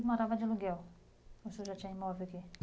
Morava de aluguel ou o senhor já tinha imóvel aqui?